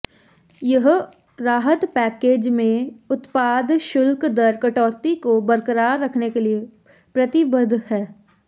यह राहत पैकेज में उत्पाद शुल्क दर कटौती को बरकरार रखने के लिए प्रतिबद्ध है